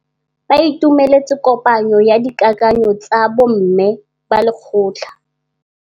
Ba itumeletse kôpanyo ya dikakanyô tsa bo mme ba lekgotla.